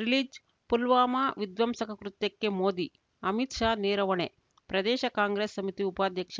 release Pulwama ವಿಧ್ವಂಸಕ ಕೃತ್ಯಕ್ಕೆ ಮೋದಿ ಅಮಿತ್‌ ಶಾ ನೇರ ಹೊಣೆ ಪ್ರದೇಶ ಕಾಂಗ್ರೆಸ್‌ ಸಮಿತಿ ಉಪಾಧ್ಯಕ್ಷ